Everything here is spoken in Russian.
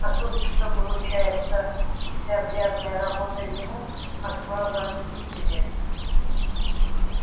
а тут что получается вся грязная работа ему а слава тебе